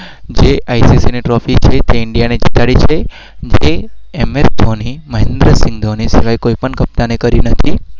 જે આઇસીસી